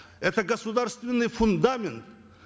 это государственный фундамент